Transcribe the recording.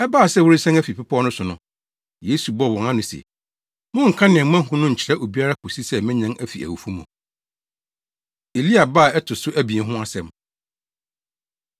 Ɛbaa sɛ wɔresian afi bepɔw no so no, Yesu bɔɔ wɔn ano se, “Monnka nea moahu no nkyerɛ obiara kosi sɛ menyan afi awufo mu.” Elia Ba A Ɛto So Abien Ho Asɛm